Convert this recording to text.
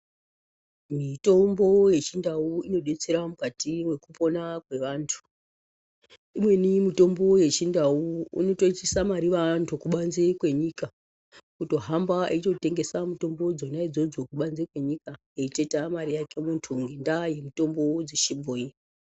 Mitombo yechindau inodetsera mukati mwekupona kwevantu. Imweni mitombo yechindau unotoisa mariva aantu kubanzi kwenyika, kutohamba eitotengesa mitombo dzona idzodzo kubanze kwenyika kutoitawo mari yake muntu ngendaa yemitombo dzechibhoyi.